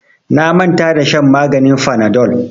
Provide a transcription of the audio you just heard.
Na manta da shan maganin fanadol.